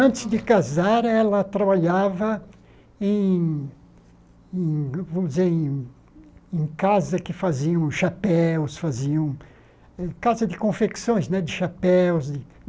Antes de casar, ela trabalhava em em vamos dizer em em casa que faziam chapéus, faziam em casa de confecções né de chapéus.